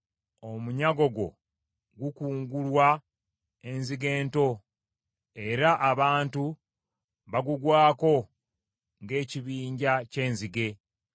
Omunyago gwo, gukungulwa enzige ento, era abantu bagugwako ng’ekibinja ky’enzige.